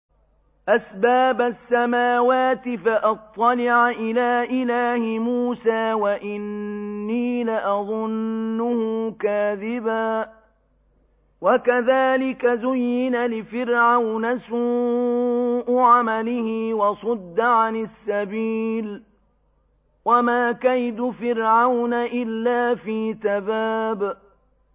أَسْبَابَ السَّمَاوَاتِ فَأَطَّلِعَ إِلَىٰ إِلَٰهِ مُوسَىٰ وَإِنِّي لَأَظُنُّهُ كَاذِبًا ۚ وَكَذَٰلِكَ زُيِّنَ لِفِرْعَوْنَ سُوءُ عَمَلِهِ وَصُدَّ عَنِ السَّبِيلِ ۚ وَمَا كَيْدُ فِرْعَوْنَ إِلَّا فِي تَبَابٍ